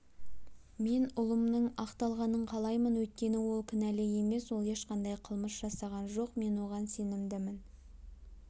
мен ұлымның ақталғанын қалаймын өйткені ол кінәлі емес ол ешқандай қылмыс жасаған жоқ мен оған сенімдімін